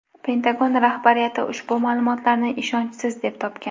Pentagon rahbariyati ushbu ma’lumotlarni ishonchsiz deb topgan.